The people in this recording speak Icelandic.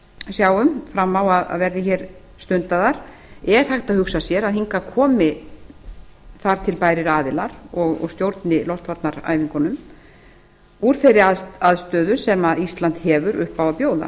sjáum fram á að verði hér stundaðar er hægt að hugsa sér að hingað komi þar til bærir aðilar og stjórni loftvarnaæfingunum úr þeirri aðstöðu sem ísland hefur upp á bjóða